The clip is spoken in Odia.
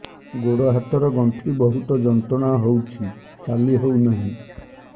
ଗୋଡ଼ ହାତ ର ଗଣ୍ଠି ବହୁତ ଯନ୍ତ୍ରଣା ହଉଛି ଚାଲି ହଉନାହିଁ